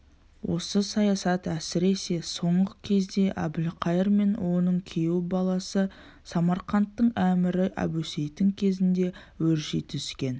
осы саясат әсіресе соңғы кезде әбілқайыр мен оның күйеу баласы самарқанттың әмірі әбусейіттің кезінде өрши түскен